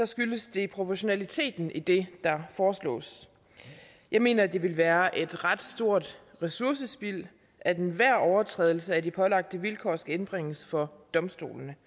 skyldes det proportionaliteten i det der foreslås jeg mener det ville være et ret stort ressourcespild at enhver overtrædelse af de pålagte vilkår skal indbringes for domstolene